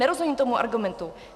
Nerozumím tomu argumentu.